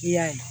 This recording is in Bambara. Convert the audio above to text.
I y'a ye